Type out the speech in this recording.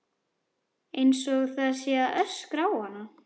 Einsog það sé að öskra á hana.